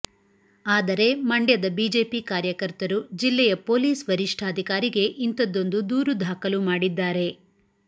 ಆದರೆ ಮಂಡ್ಯದ ಬಿಜೆಪಿ ಕಾರ್ಯಕರ್ತರು ಜಿಲ್ಲೆಯ ಪೊಲೀಸ್ ವರಿಷ್ಠಾಧಿಕಾರಿಗೆ ಇಂಥದ್ದೊಂದು ದೂರು ದಾಖಲು ಮಾಡಿದ್ದಾರೆ